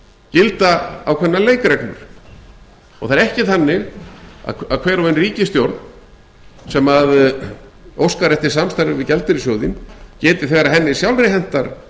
gilda ákveðnar leikreglur það er ekki þannig að hver og ein ríkisstjórn sem óskar eftir samstarfi við gjaldeyrissjóðinn geti þegar henni sjálfri hentar